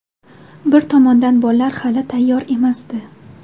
Bir tomondan bollar hali tayyor emasdi.